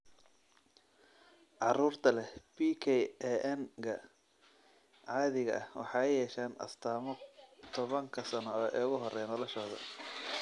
Carruurta leh PKAN-ga caadiga ah waxay yeeshaan astaamo tobanka sano ee ugu horreeya noloshooda.